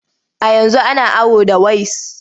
A yanzu ana awo da ways.